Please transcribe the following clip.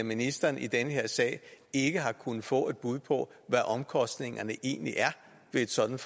ministeren i den her sag ikke har kunnet få et bud på hvad omkostningerne egentlig er ved et sådant